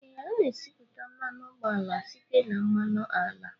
Ee, a na-esipụta mmanụ ụgbọala site na mmanụ ala